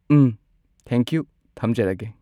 ꯎꯝ thank you ꯊꯝꯖꯔꯒꯦ